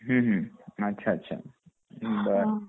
ह ह अच्छा अच्छा बर